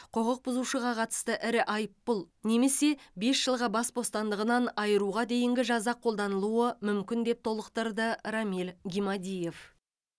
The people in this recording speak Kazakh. құқық бұзушыға қатысты ірі айыппұл немесе басқа бес жылға бас бостандығынан айыруға дейінгі жаза қолданылуы мүмкін деп толықтырды рамиль гимадиев